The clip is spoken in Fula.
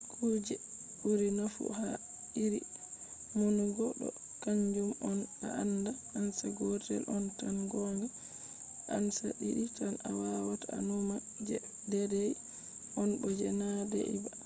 kuje ɓuri nafu ha iri numugo ɗo kanjum on: a anda ansa gotel on tan gonga. ansa ɗiɗi tan a wawata a numa je deidei on bo je na deidei ba